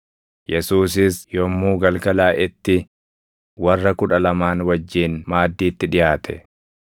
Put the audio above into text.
Yesuusis yommuu galgalaaʼetti warra Kudha Lamaan wajjin maaddiitti dhiʼaate.